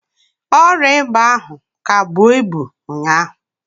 Ọrịa ịba ahụ ka bụọ ibu ụnyaahụ.